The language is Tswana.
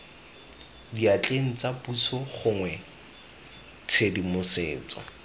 diatleng tsa puso gongwe tshedimosetso